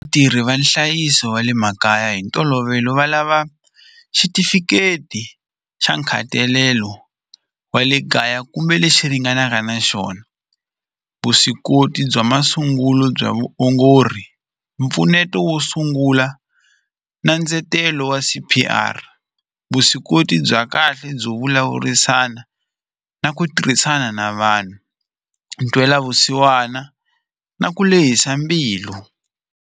Vatirhi va nhlayiso wa le makaya hi ntolovelo va lava xitifiketi xa nkhatalelo wa le kaya kumbe lexi ringanaka na xona vuswikoti bya masungulo bya vuongori mpfuneto wo sungula na ndzetelo wa C_P_R vuswikoti bya kahle byo vulavurisana na ku tirhisana na vanhu ntwelavusiwana na ku lehisa mbilu.